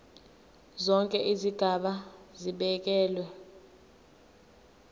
zonke izigaba zibekelwe